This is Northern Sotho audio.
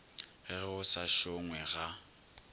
ge go sa šongwe ga